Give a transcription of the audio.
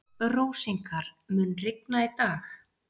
Rósinkar, mun rigna í dag?